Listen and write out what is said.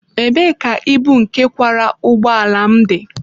Ebee ka ibu nke kwara ụgbọ ala m dị?